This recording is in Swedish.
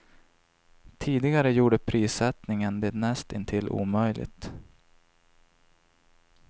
Tidigare gjorde prissättningen det näst intill omöjligt.